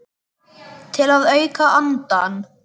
Til að auka andann.